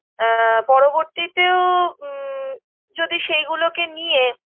আ পরবর্তীতেও উ যদি সেইগুলোকে নিয়ে